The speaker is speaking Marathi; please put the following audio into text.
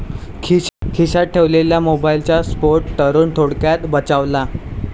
खिश्यात ठेवलेल्या मोबाईलचा स्फोट, तरुण थोडक्यात बचावला